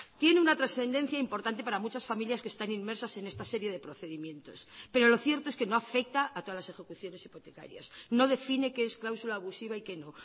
tiene una trascendencia importante para muchas familias que están inmersas en esta serie de procedimientos pero lo cierto es que no afecta a todas las ejecuciones hipotecarias no define qué es cláusula abusiva y qué no